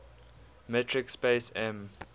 metric space m